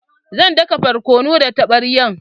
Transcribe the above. Zan daka borkonu da taɓaryan